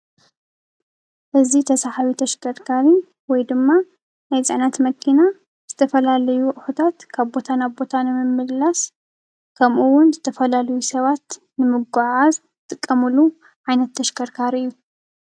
እዚ ተሰሓቢ ተሽከርካሪ ወይድማ ናይ ፅዕነት መኪና ዝተፈላለዩ ኣቁሕታት ካብ ቦታ ናብ ቦታ ንምምልላስ ከምእወን ዝተፈላለዩ ሰባት ንምጉዓዓዝ ይጥቀምሉ ዓይነት ተሽከርካሪ እዩ።